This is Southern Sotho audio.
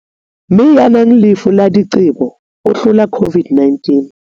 Mme ya nang le lefu la diqebo o hlola COVID-19